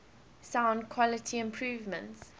sound quality improvements